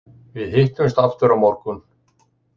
Við hittumst aftur á morgun.